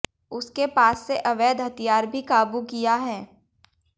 उसके पास से अवैध हथियार भी काबू किया है